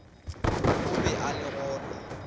o be a le gona